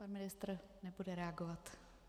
Pan ministr nebude reagovat.